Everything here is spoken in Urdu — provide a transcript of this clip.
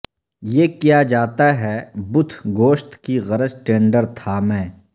یہ کیا جاتا ہے بتھ گوشت کی غرض ٹینڈر تھا میں